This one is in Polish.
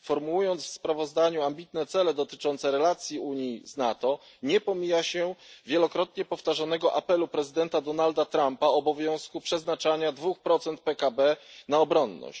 Formułując w sprawozdaniu ambitne cele dotyczące relacji Unii z NATO, nie pomija się wielokrotnie powtarzanego apelu prezydenta Donalda Trumpa, dotyczącego obowiązku przeznaczania 2 PKB na obronność.